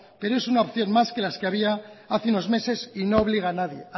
pero es una opción más que las que había hace unos meses y no obliga a nadie